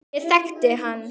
Ég þekkti hann